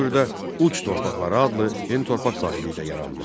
Bu dövrdə uc torpaqları adlı yeni torpaq sahibliyi də yarandı.